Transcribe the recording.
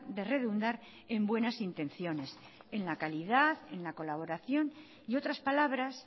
de redundar en buenas intenciones en la calidad en la colaboración y otras palabras